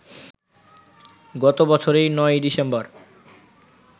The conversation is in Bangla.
গত বছরের ৯ই ডিসেম্বর